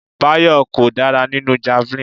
Bayo kò dára nínú javelin.